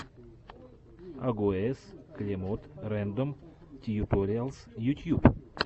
агоез клемод рэндом тьюториалс ютьюб